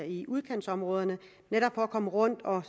i udkantsområderne netop for at komme rundt og